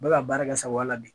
Bɛ ka baara kɛ n sagoya la de